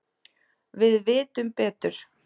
Við vitum betur.